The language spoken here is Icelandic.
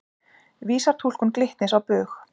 Vísar túlkun Glitnis á bug